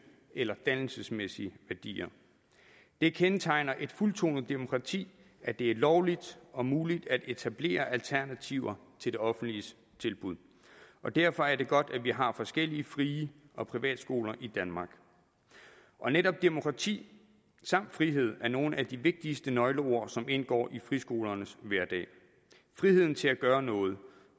eller dannelsesmæssige værdier det kendetegner et fuldtonet demokrati at det er lovligt og muligt at etablere alternativer til det offentliges tilbud og derfor er det godt at vi har forskellige frie og private skoler i danmark netop demokrati samt frihed er nogle af de vigtigste nøgleord som indgår i friskolernes hverdag friheden til at gøre noget